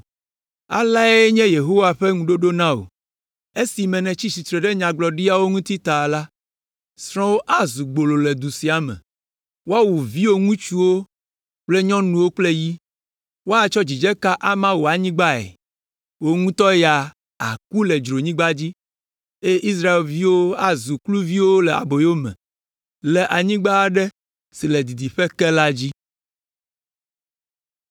“Aleae nye Yehowa ƒe ŋuɖoɖo na wò, “ ‘Esime nètsi tsitre ɖe nyagblɔɖiawo ŋuti ta la, srɔ̃wò azu gbolo le du sia me, woawu viwò ŋutsuwo kple nyɔnuwo kple yi; woatsɔ dzidzeka ama wò anyigbae. Wò ŋutɔ ya, àku ɖe dzronyigba dzi, eye Israelviwo azu kluviwo le aboyo me le anyigba aɖe si le didiƒe ke la dzi.’ ”